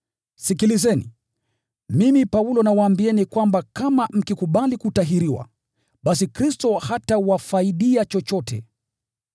Sikilizeni! Mimi, Paulo, nawaambieni kwamba kama mkikubali kutahiriwa, basi Kristo hatawafaidia chochote.